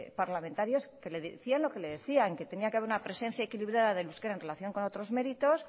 parlamentarios que le decían lo que le decían que tenía que haber una presencia equilibrada del euskera en relación con otros méritos